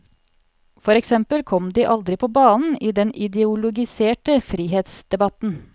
For eksempel kom de aldri på banen i den ideologiserte frihetsdebatten.